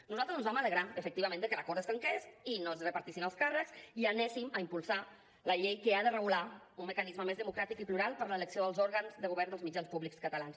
nosaltres ens vam alegrar efectivament de que l’acord es trenqués i no es repartissin els càrrecs i impulséssim la llei que ha de regular un mecanisme més democràtic i plural per a l’elecció dels òrgans de govern dels mitjans públics catalans